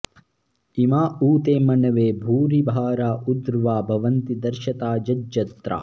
इ॒मा उ॑ ते॒ मन॑वे॒ भूरि॑वारा ऊ॒र्ध्वा भ॑वन्ति दर्श॒ता यज॑त्राः